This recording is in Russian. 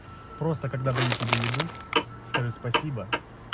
просто когда даю тебе еду скажи спасибо